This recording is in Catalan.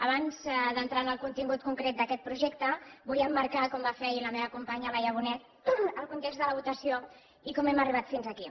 abans d’entrar en el contingut concret d’aquest projecte vull emmarcar com va fer ahir la meva companya laia bonet el context de la votació i com hem arribat fins aquí